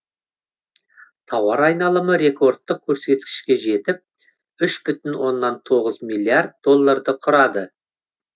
тауар айналымы рекордтық көрсеткішке жетіп үш бүтін оннан тоғыз миллиард долларды құрады